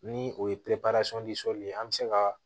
Ni o ye ye an bɛ se ka